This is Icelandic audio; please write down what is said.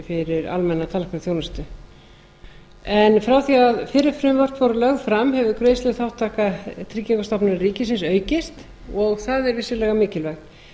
fyrir almenna tannlæknaþjónustu frá því að fyrri frumvörp voru lögð fram hefur greiðsluþátttaka tryggingastofnunar ríkisins aukist og er það vissulega mikilvægt